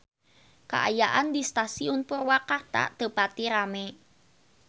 Kaayaan di Stasiun Purwakarta teu pati rame